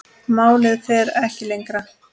Málið fer ekki lengra.